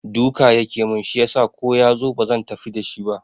Duka yake mun shi yasa ko yazo bazan tafi da shi ba